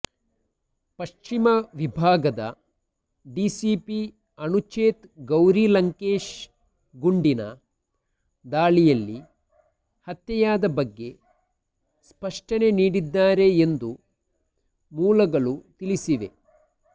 ಪಶ್ಚಿಮ ವಿಭಾಗದ ಡಿಸಿಪಿ ಅನುಚೇತ್ ಗೌರಿ ಲಂಕೇಶ್ ಗುಂಡಿನ ದಾಳಿಯಲ್ಲಿ ಹತ್ಯೆಯಾದ ಬಗ್ಗೆ ಸ್ಪಷ್ಟನೆ ನೀಡಿದ್ದಾರೆ ಎಂದು ಮೂಲಗಳು ತಿಳಿಸಿವೆ